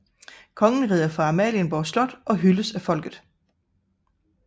Kongen rider ud fra Amalienborg Slot og hyldes af folket